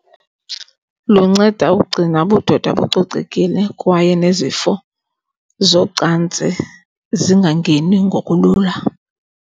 Lunceda ukugcina ubudoda bucocekile kwaye nezifo zocantsi zingangeni ngokulula.